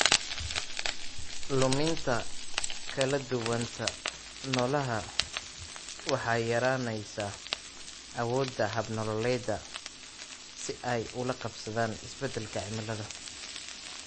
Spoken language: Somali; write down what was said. Luminta kala duwanaanta noolaha waxay yaraynaysaa awoodda hab-nololeedyada si ay ula qabsadaan isbeddelka cimilada.